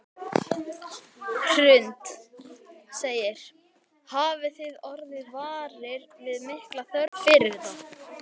Hrund: Hafið þið orðið varir við mikla þörf fyrir þetta?